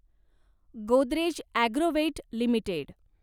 Godrej Agrovet limited